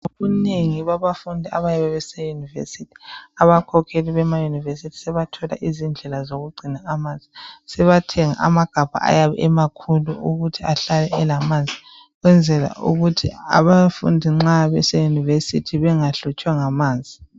Abanengi babafundi abayabe bese yunivesithi abakhokheli bemayunivesithi sebathola izindlela zokugcina amanzi sebathenga amagabha ayabe emakhulu ukuthi ahlale elamanzi ukwenzela ukuthi abafundi nxa bese yunivesithi bengahlutshwa ngamanzi